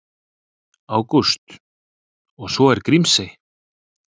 Ágúst: Og svo er Grímsey.